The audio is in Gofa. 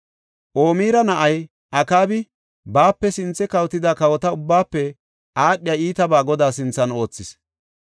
Omira na7ay Akaabi baape sinthe kawotida kawota ubbaafe aadhiya iitabaa Godaa sinthan oothis.